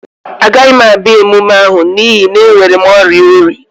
Agaghị m abịa emume ahụ n'ihi na enwere m oria oyi